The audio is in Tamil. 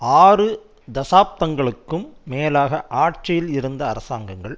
ஆறு தசாப்தங்களுக்கும் மேலாக ஆட்சியில் இருந்த அரசாங்கங்கள்